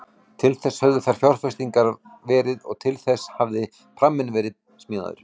Til þess höfðu þær fjárfestingar verið og til þess hafði pramminn verið smíðaður.